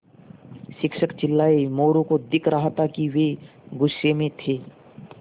शिक्षक चिल्लाये मोरू को दिख रहा था कि वे गुस्से में थे